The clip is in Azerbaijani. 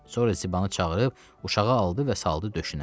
Sonra Zibanı çağırıb uşağı aldı və saldı döşünə.